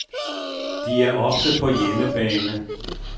De er ofte på hjemmebane.